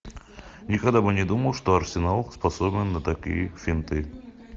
никогда бы не думал что арсенал способен на такие финты